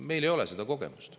Meil ei ole seda kogemust.